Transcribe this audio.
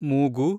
ಮೂಗು